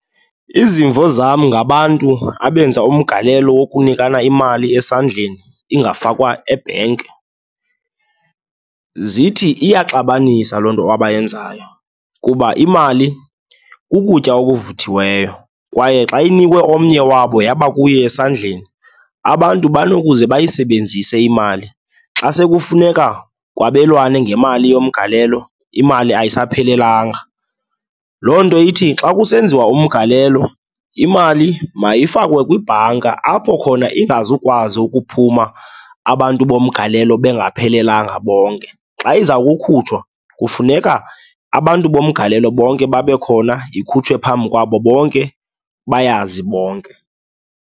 Izimvo zam ngabantu abenza umgalelo wokunika imali esandleni, ingafakwa ebhenki, zithi iyaxabanisa loo nto abayenzayo kuba imali kukutya ovuthiweyo kwaye xa inikwe omnye wabo yaba kuye esandleni abantu banokuze bayisebenzise imali. Xa sekufuneka kwabelwane ngemali yomgalelo, imali ayisaphelelanga. Loo nto ithi xa kusenziwa umgalelo, imali mazifakwe kwibhanka apho khona ingazikwazi ukuphuma abantu bomgalelo bangaphelelanga bonke. Xa iza kukhutshwa kufuneka abantu bomgalelo bonke babe khona, ikhutshwe phambi kwabo bonke, bayazi bonke.